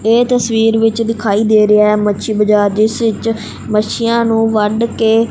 ਇਹ ਤਸਵੀਰ ਵਿੱਚ ਦਿਖਾਈ ਦੇ ਰਿਹਾ ਮੱਛੀ ਬਾਜ਼ਾਰ ਜਿਸ ਵਿੱਚ ਮੱਛੀਆਂ ਨੂੰ ਵੱਢ ਕੇ।